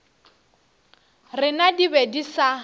rena di be di sa